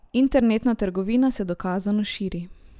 Internetna trgovina se dokazano širi.